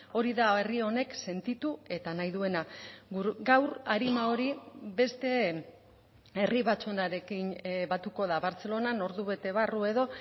hori da herri honek sentitu eta nahi duena gaur arima hori beste herri batzuenarekin batuko da bartzelonan ordu bete barru edo